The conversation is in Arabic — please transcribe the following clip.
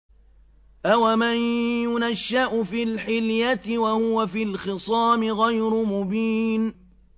أَوَمَن يُنَشَّأُ فِي الْحِلْيَةِ وَهُوَ فِي الْخِصَامِ غَيْرُ مُبِينٍ